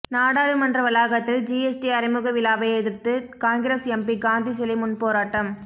நாடாளுமன்ற வளாகத்தில் ஜிஎஸ்டி அறிமுக விழாவை எதிர்த்து காங்கிரஸ் எம்பி காந்தி சிலை முன் போராட்டம்